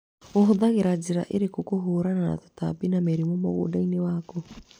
Ũhũthagĩra njĩra ĩrĩkũ kũhũrana na tũtambi na mĩrimũ mũgũnda-inĩ waku.